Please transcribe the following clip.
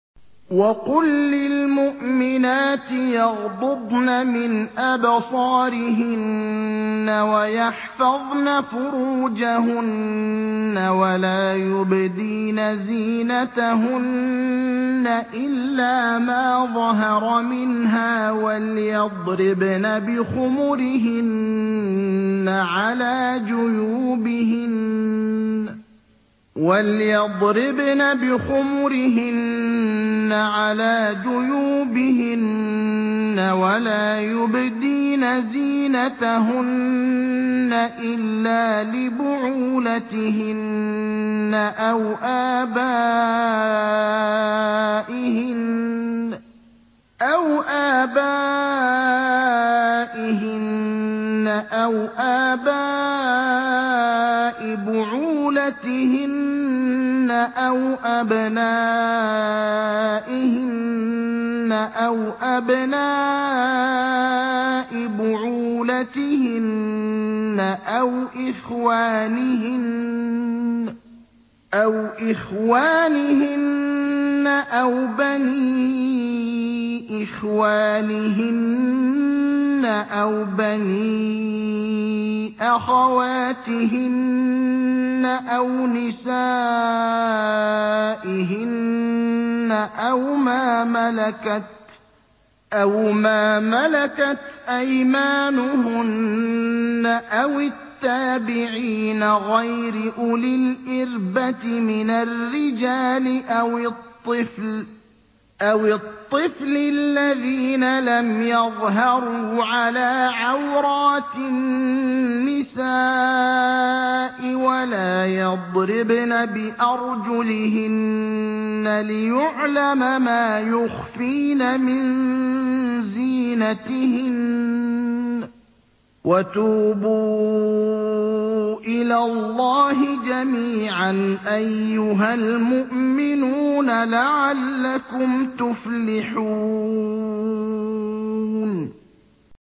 وَقُل لِّلْمُؤْمِنَاتِ يَغْضُضْنَ مِنْ أَبْصَارِهِنَّ وَيَحْفَظْنَ فُرُوجَهُنَّ وَلَا يُبْدِينَ زِينَتَهُنَّ إِلَّا مَا ظَهَرَ مِنْهَا ۖ وَلْيَضْرِبْنَ بِخُمُرِهِنَّ عَلَىٰ جُيُوبِهِنَّ ۖ وَلَا يُبْدِينَ زِينَتَهُنَّ إِلَّا لِبُعُولَتِهِنَّ أَوْ آبَائِهِنَّ أَوْ آبَاءِ بُعُولَتِهِنَّ أَوْ أَبْنَائِهِنَّ أَوْ أَبْنَاءِ بُعُولَتِهِنَّ أَوْ إِخْوَانِهِنَّ أَوْ بَنِي إِخْوَانِهِنَّ أَوْ بَنِي أَخَوَاتِهِنَّ أَوْ نِسَائِهِنَّ أَوْ مَا مَلَكَتْ أَيْمَانُهُنَّ أَوِ التَّابِعِينَ غَيْرِ أُولِي الْإِرْبَةِ مِنَ الرِّجَالِ أَوِ الطِّفْلِ الَّذِينَ لَمْ يَظْهَرُوا عَلَىٰ عَوْرَاتِ النِّسَاءِ ۖ وَلَا يَضْرِبْنَ بِأَرْجُلِهِنَّ لِيُعْلَمَ مَا يُخْفِينَ مِن زِينَتِهِنَّ ۚ وَتُوبُوا إِلَى اللَّهِ جَمِيعًا أَيُّهَ الْمُؤْمِنُونَ لَعَلَّكُمْ تُفْلِحُونَ